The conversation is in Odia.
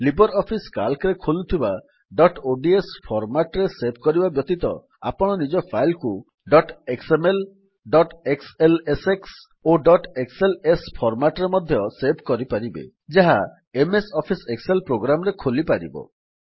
ଲିବର୍ ଅଫିସ୍ Calcରେ ଖୋଲୁଥିବା ଡଟ୍ ଓଡିଏସ ଫର୍ମାଟ୍ ରେ ସେଭ୍ କରିବା ବ୍ୟତୀତ ଆପଣ ନିଜ ଫାଇଲ୍ କୁ ଡଟ୍ ଏକ୍ସଏମଏଲ ଡଟ୍ ଏକ୍ସଏଲଏସଏକ୍ସ ଓ ଡଟ୍ ଏକ୍ସଏଲଏସ୍ ଫର୍ମାଟ୍ ରେ ମଧ୍ୟ ସେଭ୍ କରିପାରିବେ ଯାହା ଏମଏସ୍ ଅଫିସ୍ ଏକ୍ସେଲ୍ ପ୍ରୋଗ୍ରାମ୍ ରେ ଖୋଲିପରିବ